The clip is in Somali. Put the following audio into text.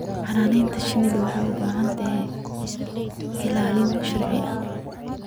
Xannaanada shinnidu waxay u baahan tahay ilaalin sharci.